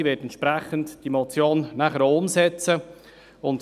Sie wird die Motion entsprechend auch umsetzen.